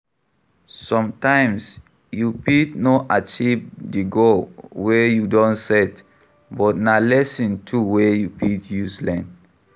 Sometimes you fit no achieve di goal wey you don set but na lesson too wey you fit use learn